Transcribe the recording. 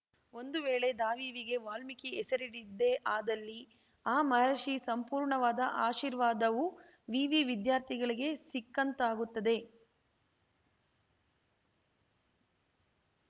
ಒಂದು ವೇಳೆ ದಾವಿವಿಗೆ ವಾಲ್ಮೀಕಿ ಹೆಸರಿಡಿದ್ದೇ ಆದಲ್ಲಿ ಆ ಮಹರ್ಷಿ ಸಂಪೂರ್ಣವಾದ ಆಶೀರ್ವಾದವು ವಿವಿ ವಿದ್ಯಾರ್ಥಿಗಳಿಗೆ ಸಿಕ್ಕಂತಾಗುತ್ತದೆ